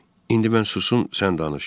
İndi mən susum, sən danış.